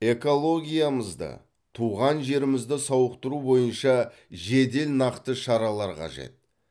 экологиямызды туған жерімізді сауықтыру бойынша жедел нақты шаралар қажет